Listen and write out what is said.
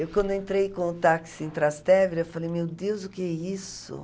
Eu, quando entrei com o táxi em Trastevere, eu falei, meu Deus, o que é isso?